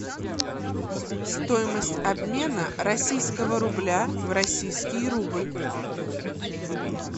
стоимость обмена российского рубля в российский рубль